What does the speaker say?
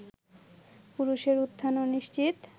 পুরুষের উত্থান অনিশ্চিত